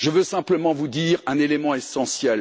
Je veux simplement vous dire un élément essentiel.